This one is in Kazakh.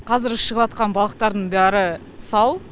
қазіргі шығыватқан балықтардың бәрі сау